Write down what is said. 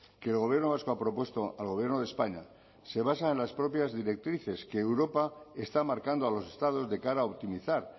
que el gobierno vasco ha propuesto al gobierno de españa se basa en las propias directrices que europa está marcando a los estados de cara a optimizar